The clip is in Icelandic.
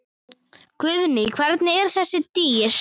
Guðný: Hvernig eru þessi dýr?